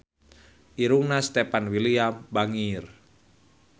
Irungna Stefan William bangir